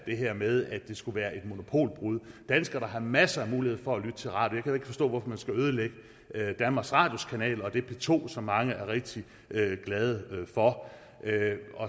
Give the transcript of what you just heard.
her med at det skulle være et monopolbrud danskerne har masser af muligheder for at lytte til radio ikke forstå hvorfor man skal ødelægge danmarks radios kanaler og det p to som mange er rigtig glade for